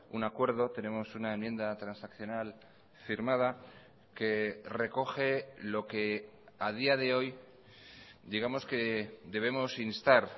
un acuerdo tenemos una enmienda transaccional firmada que recoge lo que a día de hoy digamos que debemos instar